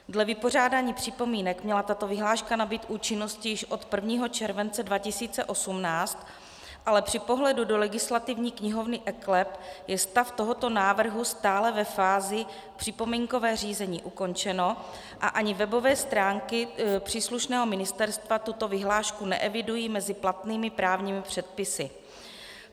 Dle vypořádání připomínek měla tato vyhláška nabýt účinnosti již od 1. července 2018, ale při pohledu do legislativní knihovny eKLEP je stav tohoto návrhu stále ve fázi "připomínkové řízení ukončeno" a ani webové stránky příslušného ministerstva tuto vyhlášku neevidují mezi platnými právními předpisy.